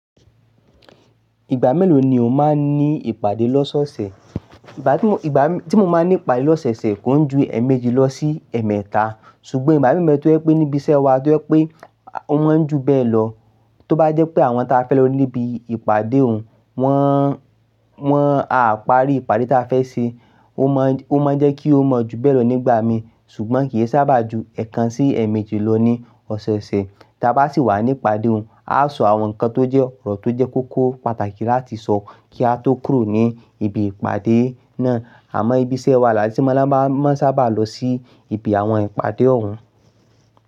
Ìgbà mélòó ni o máa ń ní ìpàdé lọ́sọ́ọ̀sẹ̀? Ìgbà tí mo, ìgbà tí mo máa ń ní ìpàdé lọ́sẹ̀ẹ̀sẹ̀ kò ń ju èèmejì lọ sí ẹ̀ẹ̀mẹ́ta, ṣùgbọ́n ìgbà mí be ẹ tó jẹ́ pé níbi iṣẹ́ wa tó jẹ́ pé ó máa ń ju bẹ́ẹ̀ lọ. Tó bá jẹ́ pé àwọn tí a fẹ́ lọ níbi ìpàdé òun, wọ́n, wọ́n á parí ìpàdé ta fẹ́ ṣe, ó máa ń, ó máa ń jẹ́ kí ó mọ́ ju bẹ́ẹ̀ lọ nígbà mi ṣùgbọ́n kì í sábà ju ẹ̀kan sí èèmejì lọ ní ọ̀sẹ̀ẹ̀sẹ̀. Tí a bá sì wà ní ìpàdé òun, a sọ àwọn nǹkan tó jẹ́ ọ̀rọ̀ tó jẹ́ kókó pàtàkì láti sọ kí a tó kúrò ní ibi ìpàdé náà. Àmọ́ ibi iṣẹ́ wa láti mú ọba máa ń sábà lọ sí ibi àwọn ìpàdé òun.